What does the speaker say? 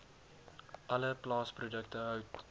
alle plaasprodukte hout